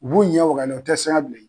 U b'u ɲɛ waga u tɛ siran i ɲɛ bilen